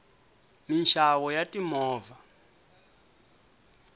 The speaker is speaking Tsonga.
minxavo ya timovha